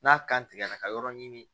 N'a kan tigɛra ka yɔrɔ ɲini